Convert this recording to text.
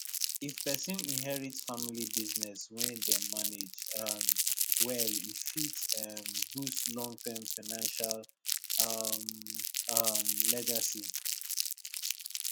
if person inherit family business wey dem manage um well e fit um boost long term financial um um legacy